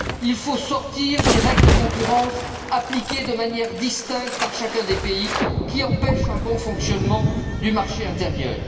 Il faut sortir des règles de concurrence appliquées de manière distincte par chacun des États membres, qui empêchent un bon fonctionnement du marché intérieur.